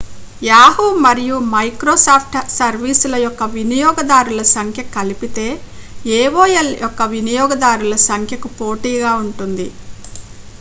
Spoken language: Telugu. yahoo మరియు microsoft సర్వీస్ల యొక్క వినియోగదారుల సంఖ్య కలిపితే aol యొక్క వినియోగదారుల సంఖ్యకు పోటీగా ఉంటుంది